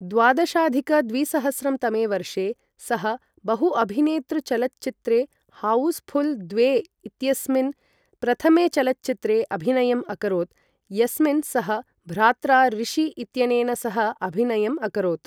द्वादशाधिक द्विसहस्रं तमे वर्षे सः बहु अभिनेतृ चलच्चित्रे हाउसफुल् द्वे इत्यस्मिन् प्रथमे चलच्चित्रे अभिनयम् अकरोत्, यस्मिन् सः भ्रात्रा ऋषि इत्यनेन सह अभिनयम् अकरोत् ।